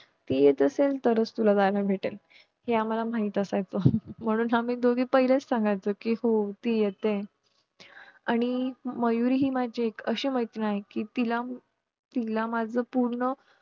ती येत असेल तरच तुला जायला भेटेल हे आम्हाला माहित असायचं म्हणून आम्ही दोघी पहिलेच सांगायचो कि हो ती येते आणि मयुरी हि एक माझी अशी मैत्रीण आहे कि तिला तिला माझं पूर्ण